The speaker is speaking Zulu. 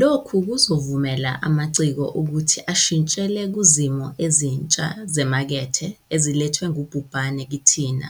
Lokhu kuzovumela amaciko ukuthi ashintshele kuzimo ezintsha zemakethe ezilethwe ngubhubhane kithina